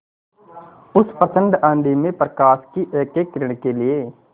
उस प्रचंड आँधी में प्रकाश की एकएक किरण के लिए